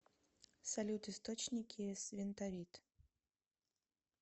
салют источники свентовит